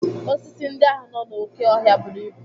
Osisi ndị ahụ nọ n'oké ọhịa buru ibu.